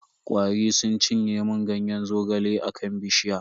Kwari suna cinye mun Ganyen zogale a kan bishiya.